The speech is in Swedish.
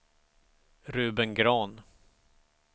Ruben Grahn